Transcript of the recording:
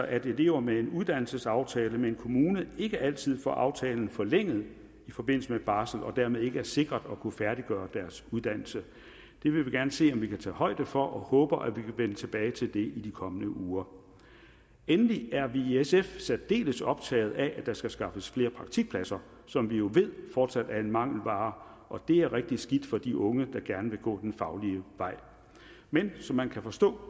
at elever med en uddannelsesaftale med en kommune ikke altid får aftalen forlænget i forbindelse med barsel og dermed ikke er sikret at kunne færdiggøre deres uddannelse det vil vi gerne se om vi kan tage højde for og vi håber at vi vil vende tilbage til det i de kommende uger endelig er vi i sf særdeles optaget af at der skal skaffes flere praktikpladser som vi jo ved fortsat er en mangelvare og det er rigtig skidt for de unge der gerne vil gå den faglige vej men som man kan forstå